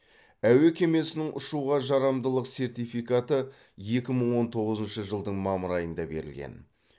әуе кемесінің ұшуға жарамдылық сертификаты екі мың он тоғызыншы жылдың мамыр айында берілген